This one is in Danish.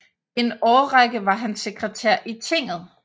En årrække var han sekretær i tinget